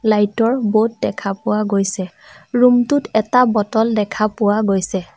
Light ৰ board দেখা পোৱা গৈছে ৰূম টোত এটা বটল দেখা পোৱা গৈছে।